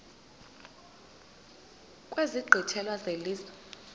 kwezi nkqwithela zelizwe